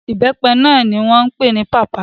Ìbẹ́pẹ náà ni wọ́n pè ní papaya.